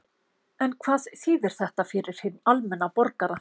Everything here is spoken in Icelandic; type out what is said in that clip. En hvað þýðir þetta fyrir hinn almenna borgara?